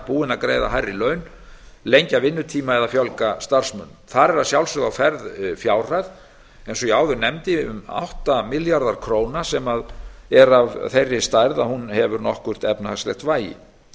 búin að greiða hærri laun lengja vinnutíma eða fjölga starfsmönnum þar er að sjálfsögðu á ferð fjárhæð eins og ég áður nefndi um átta milljarðar króna sem er af þeirri stærð að hún hefur nokkurt efnahagslegt vægi